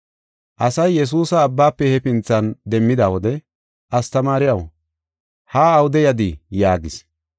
Asay Yesuusa abbaafe hefinthan demmida wode, “Astamaariyaw, haa awude yadii?” yaagis.